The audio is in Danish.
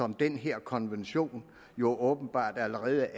den her konvention jo åbenbart allerede